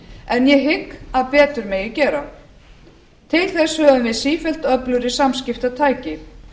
en ég hygg að betur megi gera til þess höfum við sífellt öflugri samskiptatæki